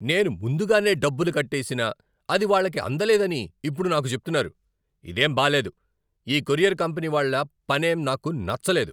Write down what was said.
నేను ముందుగానే డబ్బులు కట్టేసినా, అది వాళ్ళకి అందలేదని ఇప్పుడు నాకు చెప్తున్నారు! ఇదేం బాలేదు. ఈ కొరియర్ కంపెనీ వాళ్ళ పనేం నాకు నచ్చలేదు.